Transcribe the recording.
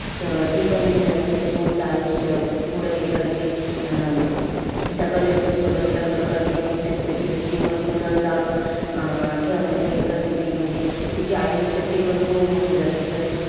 त ती पण ते तिचं पुढचं आयुष्य पुढं हे करती. अन त्या collector सोबत लग्न करती. अन तिचं जीवन पुढं चालू अं ठेवण्याचं हे करती ती. म्हणजे तिच्या आयुष्यात ती पण होऊन जाते. तर,